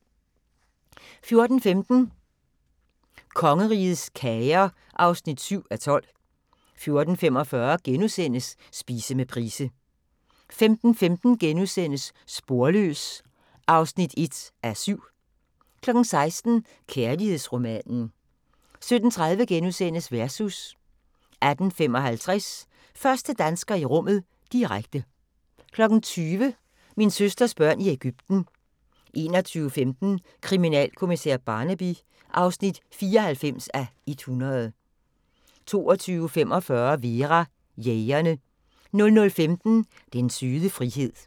14:15: Kongerigets kager (7:12) 14:45: Spise med Price * 15:15: Sporløs (1:7)* 16:00: Kærlighedsromanen 17:30: Versus * 18:55: Første dansker i rummet – direkte 20:00: Min søsters børn i Ægypten 21:15: Kriminalkommissær Barnaby (94:100) 22:45: Vera: Jægerne 00:15: Den søde frihed